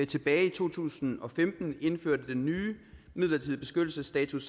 tilbage i to tusind og femten indførte den nye midlertidige beskyttelsesstatus